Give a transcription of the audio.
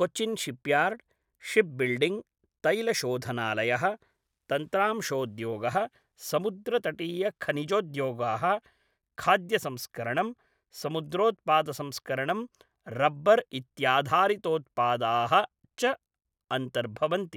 Cochin shipyard, shipbuilding, तैलशोधनालयः, तन्त्रांशोद्योगः, समुद्रतटीयखनिजोद्योगाः, खाद्यसंस्करणं, समुद्रोत्पादसंस्करणं, रब्बर् इत्याधारितोत्पादाः च अन्तर्भवन्ति।